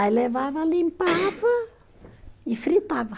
Aí levava, limpava e fritava.